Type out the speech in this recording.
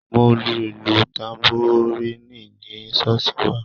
Mo lu ìlù tanboríìnì ní ṣọ́ọ̀ṣì wa